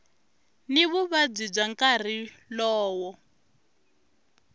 ni vuvabyi bya nkarhi lowo